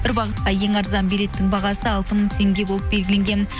бір бағытқа ең арзан билеттің бағасы алты мың теңге болып белгіленген